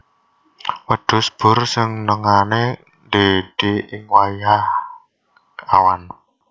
Wedhus boer senengané ndhédhé ing wayah awan